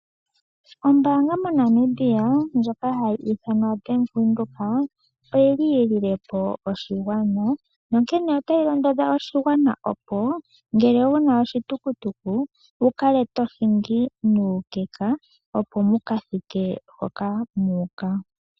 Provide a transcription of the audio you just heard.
Ombaanga moNamibia ndjoka hayi ithanwa Bank Windhoek, oyi li yi lile po oshigwana. Otayi londodha oshigwana opo, ngele wu na oshitukutuku wu kale to hingi nuukekeka opo mu ka thike hoka mu uka.